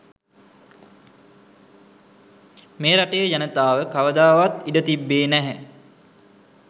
මේ රටේ ජනතාව කවදාවත් ඉඩ තිබ්බේ නැහැ